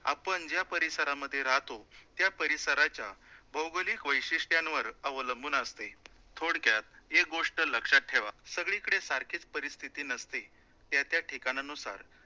आपण ज्या परिसरामध्ये राहतो, त्या परिसराच्या भौगोलिक वैशिष्ट्यांवर अवलंबून असते, थोडक्यात एक गोष्ट लक्षात ठेवा, सगळीकडे सारखीच परिस्थिती नसते, त्या त्या ठिकाणानुसार